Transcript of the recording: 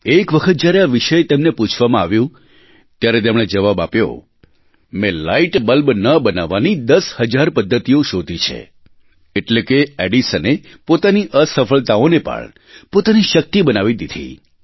એક વખત જ્યારે આ વિષયે તેમને પૂછવામાં આવ્યું ત્યારે તેમણે જવાબ આપ્યો મેં લાઇટ બલ્બ ન બનાવવાની દસ હજાર પધ્ધતિઓ શોધી છે એટલે કે એડિસને પોતાની અસફળતાઓને પણ પોતાની શક્તિ બનાવી દીધી